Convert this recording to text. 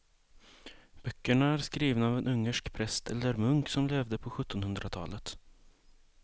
Böckerna är skrivna av en ungersk präst eller munk som levde på sjuttonhundratalet.